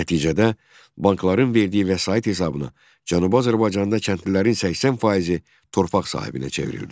Nəticədə bankların verdiyi vəsait hesabına Cənubi Azərbaycanda kəndlilərin 80 faizi torpaq sahibinə çevrildi.